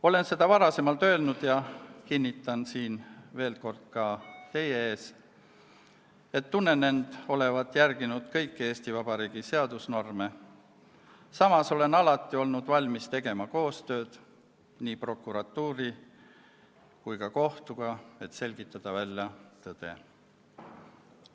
Olen seda varem öelnud ja kinnitan veel kord ka siin teie ees, et tunnen end olevat järginud kõiki Eesti Vabariigi seadusnorme, samas olen alati olnud valmis tegema koostööd nii prokuratuuri kui ka kohtuga, et selgitada välja tõde.